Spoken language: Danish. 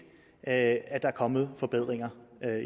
at der er kommet forbedringer